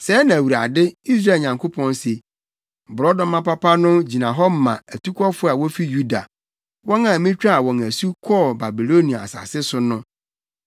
“Sɛɛ na Awurade, Israel Nyankopɔn se: ‘Borɔdɔma papa no gyina hɔ ma atukɔfo a wofi Yuda, wɔn a mitwaa wɔn asu kɔɔ Babilonia asase so no.